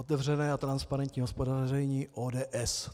Otevřené a transparentní hospodaření ODS.